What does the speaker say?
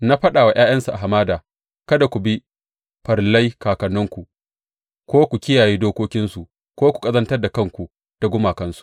Na faɗa wa ’ya’yansu a hamada, Kada ku bi farillai kakanninku ko ku kiyaye dokokinsu ko ku ƙazantar da kanku da gumakansu.